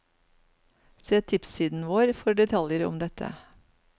Se tipssiden vår for detaljer om dette.